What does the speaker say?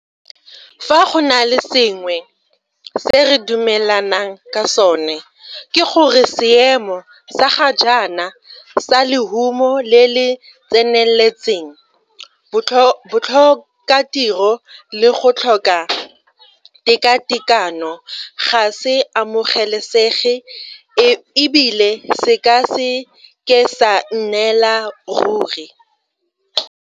Fa go na le sengwe se re dumelanang ka sona, ke gore seemo sa ga jaana sa lehuma le le tseneletseng, botlhokatiro le go tlhoka tekatekano ga se amogelesege e bile se ka se ke sa nnela ruri.